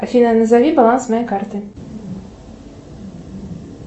афина назови баланс моей карты